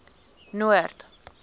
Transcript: noord